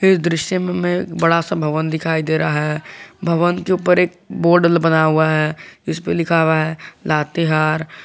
इस दृश्य में बड़ा सा भवन दिखाई दे रहा है भवन के ऊपर एक बोर्ड बना हुआ है इसपे लिखा हुआ है लातेहार--